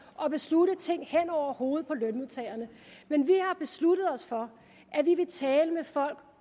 og beslutte ting hen over hovedet på lønmodtagerne men vi har besluttet os for at vi vil tale med folk